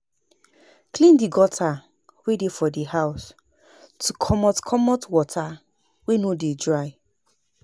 Clean the gutter wey dey for di house to comot comot water wey no dey dry